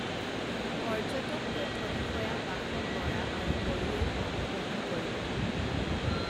পৰ্যটক তথ্য বিষয়া বাসৱ বৰা আৰু বড়োৱেও অংশগ্ৰহণ কৰিব